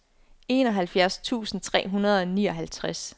enoghalvfjerds tusind tre hundrede og nioghalvtreds